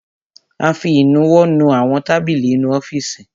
A fi ìnuwọ́ nu àwọn tábìlì inú ọ́fìsì.